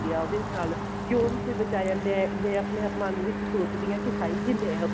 ਉਹਦੇ ਨਾਲ ਕਿਉਂ ਨੀ ਕੋਈ ਬਚਾਉਣ ਗਿਆ ਮੈਂ ਆਪਣੇ ਮਨ ਵਿੱਚ ਸੋਚਦੀ ਹਾਂ ਕੀ ਹਾਏ ਜੇ ਮੈਂ